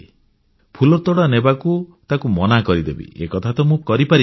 ଫୁଲତୋଡ଼ା ନେବାକୁ ତାକୁ ମନା କରିଦେବି ଏକଥା ତ ମୁଁ କରିପାରିବିନି